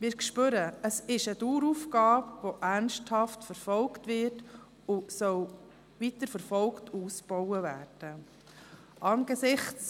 Wir spüren, es ist eine Daueraufgabe, die ernsthaft verfolgt wird, weiterverfolgt und ausgebaut werden soll.